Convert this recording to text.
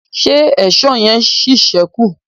ṣe Èṣó yen sí sẹku?